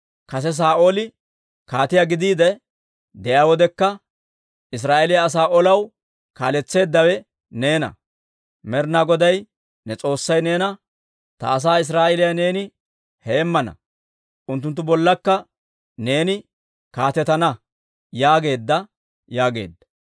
Kase Saa'ooli kaatiyaa gidiide de'iyaa wodekka, Israa'eeliyaa asaa olaw kaaletseeddawe neena. Med'inaa Goday ne S'oossay neena, ‹Ta asaa Israa'eeliyaa neeni heemmana; unttunttu bollakka neeni kaatetana› yaageedda» yaageedda.